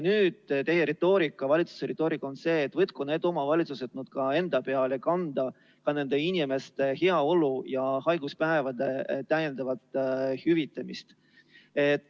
Nüüd on teie valitsuse retoorika selline, et võtku need omavalitsused enda kanda ka nende inimeste heaolu ja haiguspäevade täiendav hüvitamine.